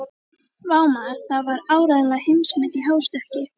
Vá, maður, það var áreiðanlega heimsmet í hástökki.